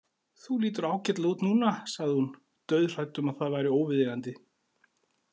Þú lítur ágætlega út núna, sagði hún dauðhrædd um að það væri óviðeigandi.